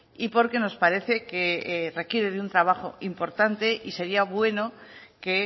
y porque nos parece que requiere de un trabajo importante y sería bueno que